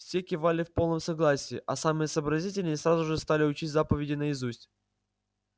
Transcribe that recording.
все кивали в полном согласии а самые сообразительные сразу же стали учить заповеди наизусть